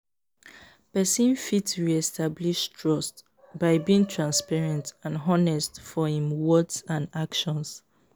pesin fit re-establish trust by being transparent and honest for im words and actons.